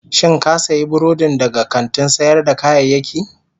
Shin ka sayi burodin daga kantin sayar da kayayyaki?